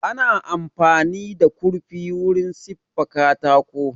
Ana amfani da kurfi wurin siffa katako